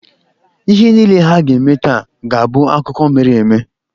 Ihe niile ha ga-eme taa ga-abụ akụkọ mere eme.